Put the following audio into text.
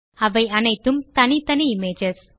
அவை அனைத்தும் தனித்தனி இமேஜஸ்